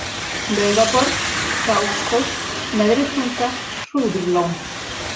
Laugaborg, Krákshóll, Neðri tunga, Hrúðurlón